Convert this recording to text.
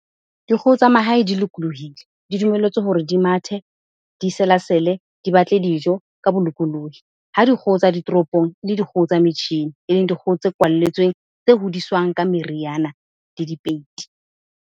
Dikgoho tsa mahae di lokolohile. Di dumelletswe hore di mathe, di selasele, di batle dijo ka bolokolohi. Ha dikgoho tsa ditoropong, e le dikgoho tsa metjhini. Eleng dikgoho tse kwalletsweng, tse hodiswang ka meriana le dipeiti.